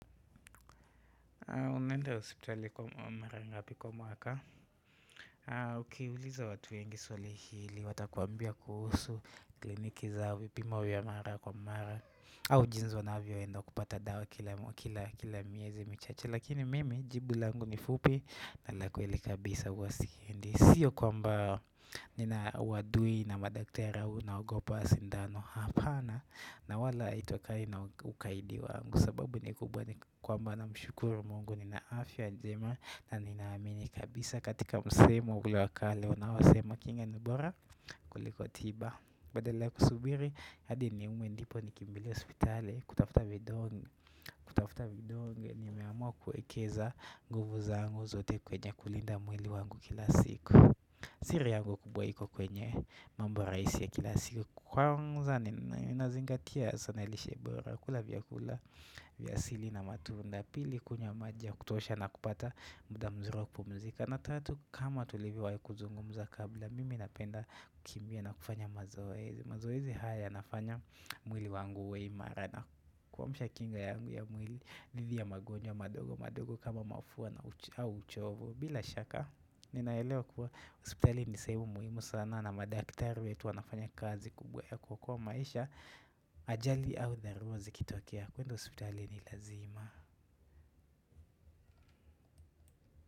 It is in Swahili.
Ukiuliza watu wengi swali hili watakuambia kuhusu kliniki zao, vipimo vya mara kwa mara au jinsi wanavyoenda kupata dawa kila miezi michache lakini mimi jibu langu ni fupi na la kweli kabisa huwa si Sio kwamba nina uadui na madakitari au naogopa sindano, hapana na wala ito kai na ukaidi wangu sababu ni kubwa ni kwamba namshukuru mungu nina afy njema na ninaamini kabisa katika msemo ule wa kale wanaosema kinga ni bora kuliko tiba badala kusubiri hadi niume ndipo nikimbie hospitali kutafuta vidonge, nimeamua kuekeza nguvu zangu zote kwenye kulinda mwili wangu kila siku siri yangu kubwa iko kwenye mambo rahisi kila siku. Kwanza ninazingatia san lishe bora, kula vyakula vya asili na matunda. Pili kunywa maji ya kutosha na kupata muda mzuri wa kupumzika na tatu kama tuliwai kuzungumuza kabla, mimi napenda kukimbia na kufanya mazoezi. Mazoezi haya yanafanya mwili wangu uwe imara na kuamusha kinga yangu ya mwili dhidhi ya magonjwa madogo madogo kama mafua na uchovo. Bila shaka ninaelewa kuwa hospitali ni sehemu muhimu sana na madaktari wetu wanafanya kazi kubwa ya kuokoa maisha ajali au dharura zikitokea kuenda hospitali ni lazima.